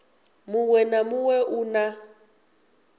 muṅwe na muṅwe u na